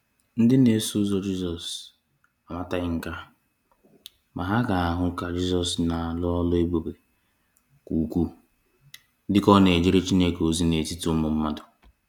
Ndị na-eso ụzọ Jizọs amataghị nka, ma ha ga-ahụ ka Jizọs na-alụ ọlụ ebube ka ukwuu dị ka ọ na-ejere Chineke ozi n’etiti ụmụ mmadụ.